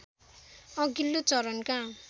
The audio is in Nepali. अघिल्लो चरणका